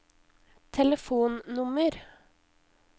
telefonnummer